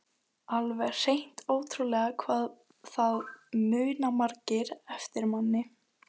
Alveg hreint ótrúlegt hvað það muna margir eftir manni!